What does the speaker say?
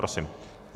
Prosím.